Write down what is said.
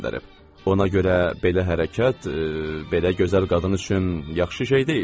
Ona görə belə hərəkət, belə gözəl qadın üçün yaxşı şey deyil.